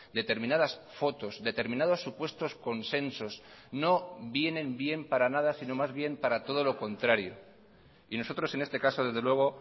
determinadas fotos determinados supuestos consensos no vienen bien para nada sino más bien para todo lo contrario y nosotros en este caso desde luego